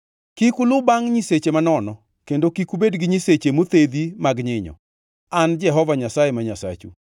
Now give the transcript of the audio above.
“ ‘Kik uluw bangʼ nyiseche manono, kendo kik ubed gi nyiseche mothedhi mag nyinyo. An e Jehova Nyasaye ma Nyasachu.